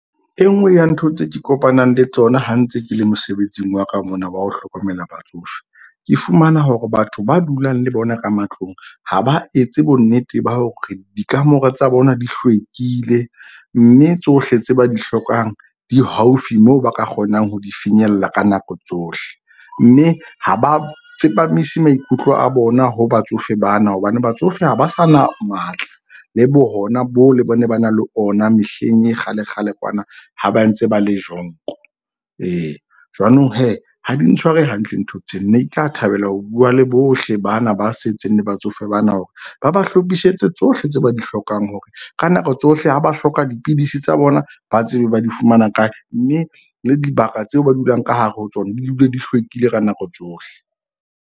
E nngwe ya ntho tse ke kopanang le tsona ha ntse ke le mosebetsing wa ka mona wa ho hlokomela batsofe. Ke fumana hore batho ba dulang le bona ka matlong ha ba etse bonnete ba hore dikamore tsa bona di hlwekile. Mme tsohle tse ba di hlokang di haufi moo ba ka kgonang ho di finyella ka nako tsohle. Mme ha ba tsepamise maikutlo a bona ho batsofe bana. Hobane batsofe ha ba sa na matla, le bo hona bo ba ne ba na le ona mehleng ya kgale kgale kwana ha ba ntse ba le . Ee jwanong ha di ntshware hantle ntho tse. Ne nka thabela ho bua le bohle bana ba setseng le batsofe bana hore ba ba hlophisetse tsohle tse ba di hlokang hore ka nako tsohle ha ba hloka dipidisi tsa bona ba tsebe ba di fumana kae, mme le dibaka tseo ba dulang ka hare ho tsona di dule di hlwekile ka nako tsohle.